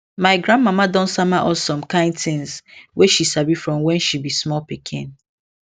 my grandmama don sama us some kind things wey she sabi from when she be small pikin